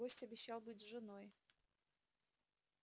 гость обещал быть с женой